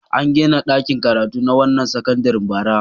An gina ɗakin karatu na wannan sakandaren bara.